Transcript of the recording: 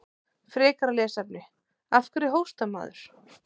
Frekara lesefni: Af hverju hóstar maður?